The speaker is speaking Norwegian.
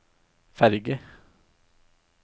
ferge